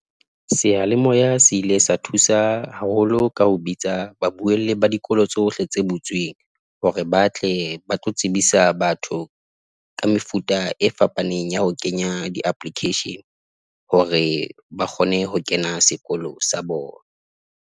Seyalemoya se ile sa thusa haholo ka ho bitsa babuelli ba dikolo tsohle tse butsweng hore ba tle ba tlo tsebisa batho ka mefuta e fapaneng ya ho kenya di-application hore ba kgone ho kena sekolo sa bona.